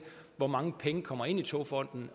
hvor mange penge der kommer ind i togfonden